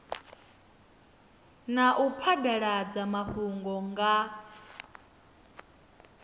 na u phadaladza mafhungo nga